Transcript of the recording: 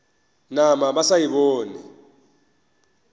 nama ba sa e bone